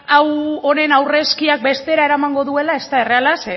hau honen aurrezkiak bestera eramango duela ez da erreala